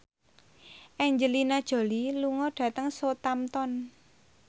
Angelina Jolie lunga dhateng Southampton